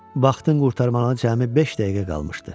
Vaxtın qurtarmağına cəmi beş dəqiqə qalmışdı.